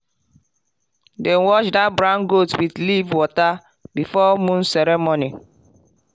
dem wash that brown goat with leaf water before moon ceremony.